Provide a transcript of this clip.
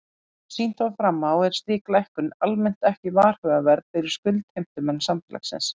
Eins og sýnt var fram á er slík lækkun almennt ekki varhugaverð fyrir skuldheimtumenn félagsins.